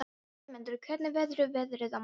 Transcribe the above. Vémundur, hvernig verður veðrið á morgun?